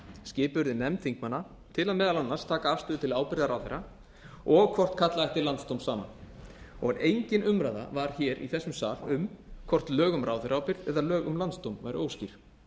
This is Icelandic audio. skipuð yrði nefnd þingmanna til að meðal annars taka afstöðu til ábyrgðar ráðherra og hvort kalla ætti landsdóm saman engin umræða var hér í þessum sal um hvort lög um ráðherraábyrgð eða lög um landsdóm væru óskýr